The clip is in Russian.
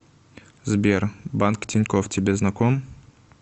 сбер банк тинькофф тебе знаком